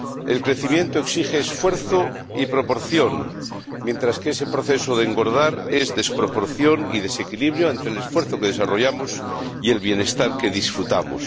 El crecimiento exige esfuerzo y proporción, mientras que ese proceso de engordar es desproporción y desequilibrio ante el esfuerzo que desarrollamos y el bienestar que disfrutamos.